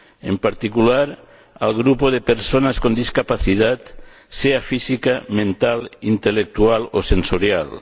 en particular al grupo de personas con discapacidad, sea física, mental, intelectual o sensorial.